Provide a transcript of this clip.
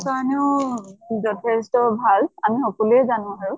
কাৰণেও যথেষ্ট ভাল, আমি সকলোৱে জানো বাৰু।